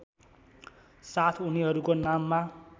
साथ उनीहरूको नाममा